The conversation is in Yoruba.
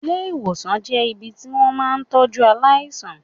Ilé ìwòsàn jẹ́ ibi tí wón ti máa ń tọ́jú aláìsàn.